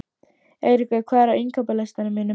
Eyríkur, hvað er á innkaupalistanum mínum?